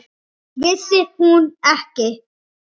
Vissi hún ekki?